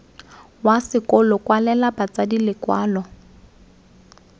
wa sekolo kwalela batsadi lekwalo